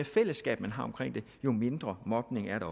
fællesskab man har jo mindre mobning er der